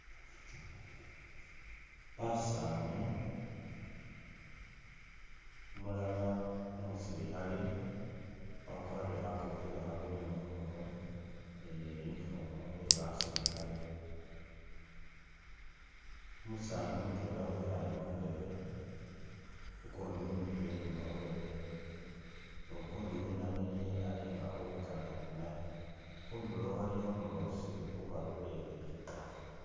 Basani umulala umusilikhale wakwarile khakofila kha green khumurwe ni uniform yebasilikhale, umusani mutwela wikhale mundebe, ukundi wemikhile inyuma wewe ni kundi winamikhilile alinga uli khukanikha ni naye khudulo aliyo umulosi ubalolelele